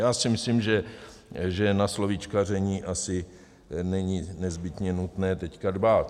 Já si myslím, že na slovíčkaření asi není nezbytně nutné teď dbát.